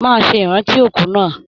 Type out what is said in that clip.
Máa ṣe ìrántí òkú náà!